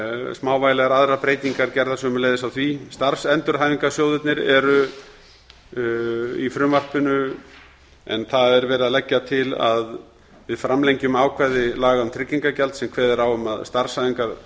smávægilegar aðrar breytingar verða gerðar sömuleiðis á því starfsendurhæfingarsjóðirnir eru í frumvarpinu en það er verið að leggja til að við framlengjum ákvæði laga um tryggingagjald sem kveður á um að